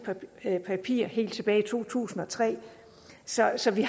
papirer helt tilbage i to tusind og tre så så vi